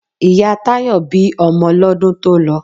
Ìyá Táyọ̀ bí ọmọ lọ́dún tó lọ.